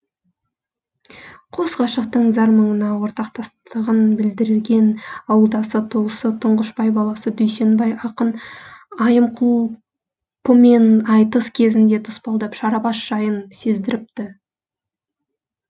қос ғашықтың зар мұңына ортақтастығын білдірген ауылдасы туысы тұңғышбай баласы дүйсенбай ақын айымқұлпымен айтыс кезінде тұспалдап шарабас жайын сездіріпті